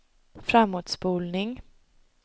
framåtspolning